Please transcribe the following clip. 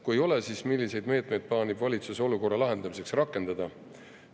Kui ei ole, siis milliseid meetmed plaanib valitsus olukorra lahendamiseks rakendada?